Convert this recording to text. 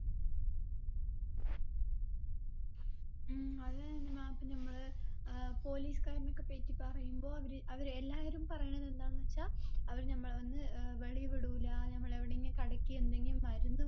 ഉം അതെ നനിമ്മ പിന്നെ നമ്മള് ഏർ police കാരനെ ഒക്കെ പറ്റി പറയുമ്പോ അവര് അവര് എല്ലാവരും പറയണെ എന്താന്ന് വച്ചാ അവര് നമ്മളെ വന്ന് ഏർ വെളിൽ വിടൂല നമ്മള് എവിടെങ്കി കടക്ക് എന്തെങ്കിം മരുന്ന്